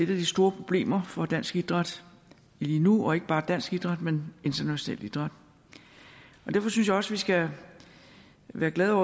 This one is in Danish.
de store problemer for dansk idræt lige nu og ikke bare dansk idræt men international idræt derfor synes jeg også vi skal være glade